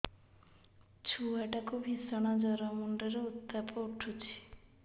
ଛୁଆ ଟା କୁ ଭିଷଣ ଜର ମୁଣ୍ଡ ରେ ଉତ୍ତାପ ଉଠୁଛି